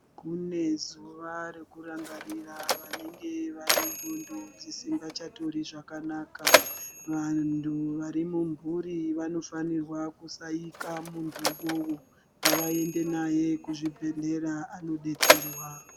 Kune zuva rekurangarira vanenge vane nxondo dzinenge dzisingachatori zvakanaka. Vantu varimumhuri vanofanirwa kusaika muntu uwowo, ngavaende naye kuzvibhedhlera anodetserwa.